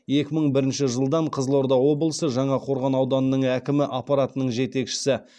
екі мың бірінші жылдан қызылорда облысы жаңақорған ауданының әкімі аппаратының жетекшісі